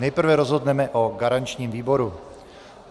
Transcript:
Nejprve rozhodneme o garančním výboru.